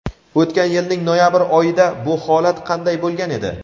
O‘tgan yilning noyabr oyida bu holat qanday bo‘lgan edi?.